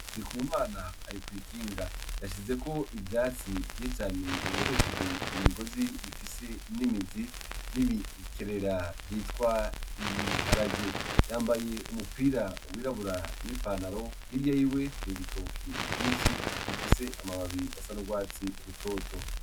Rika umana ari kw'ikinga yashize ko ivyatsi vy'icane bibohesheje imigozi bifise inimizi n'ibikerera vyitwa ibiharage yambaye umupira wirabura n'i panaro hirya yiwe hari ibitoki vyinshi bifise amababiri asa n'urwatsi rutoto.